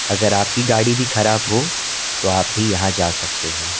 अगर आपकी गाड़ी भी खराब हो तो आप भी यहां जा सकते हैं।